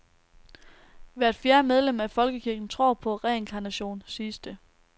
Hvert fjerde medlem af folkekirken tror på reinkarnation, siges det.